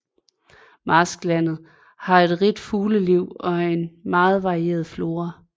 Marsklandet har et rigt fugleliv og en meget varieret flora